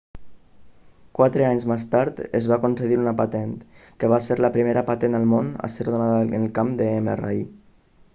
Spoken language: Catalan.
quatre anys més tard es va concedir una patent que va ser la primera patent al món a ser donada en el camp de mri